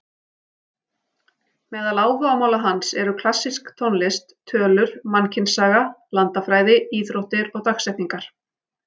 Meðal áhugamála hans eru klassísk tónlist, tölur, mannkynssaga, landafræði, íþróttir og dagsetningar.